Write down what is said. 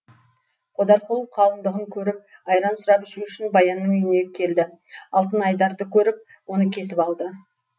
қодар құл қалыңдығын көріп айран сұрап ішу үшін баянның үйіне келді алтын айдарды көріп оны кесіп алды